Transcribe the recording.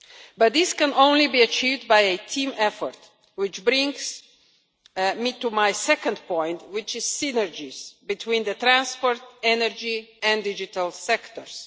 But this can only be achieved by a team effort which brings me to my second point, which is synergies between the transport, energy and digital sectors.